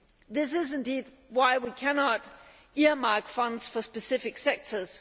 This is indeed why we cannot earmark funds for specific sectors.